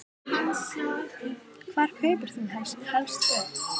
Hvar kaupir þú helst föt?